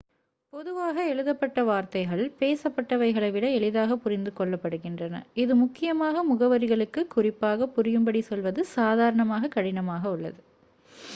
பொதுவாக எழுதப்பட்ட வார்த்தைகள் பேசப்பட்டவைகளை விட எளிதாகப் புரிந்து கொள்ளப் படுகின்றன இது முக்கியமாக முகவரிகளுக்கு குறிப்பாக புரியும்படி சொல்வது சாதாரணமாக கடினமாக உள்ளது